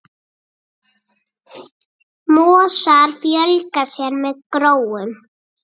Mosar fjölga sér með gróum.